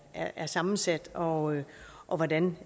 er sammensat og og hvordan